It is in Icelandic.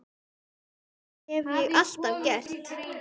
Það hef ég alltaf gert.